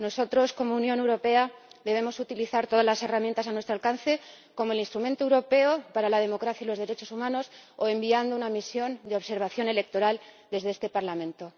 Nosotros, como Unión Europea, debemos utilizar todas las herramientas a nuestro alcance, como el Instrumento Europeo para la Democracia y los Derechos Humanos, o enviando una misión de observación electoral desde este Parlamento.